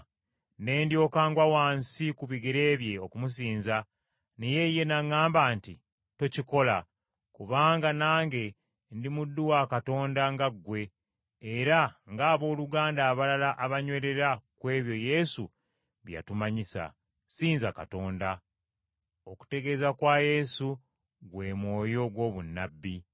Ne ndyoka ngwa wansi ku bigere bye okumusinza naye ye n’aŋŋamba nti, “Tokikola! Kubanga nange ndi muddu wa Katonda nga ggwe era ng’abooluganda abalala abanywerera ku ebyo Yesu bye yatumanyisa! Ssinza Katonda. Okutegeeza kwa Yesu gwe mwoyo gw’obunnabbi.”